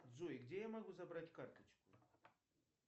джой где я могу забрать карточку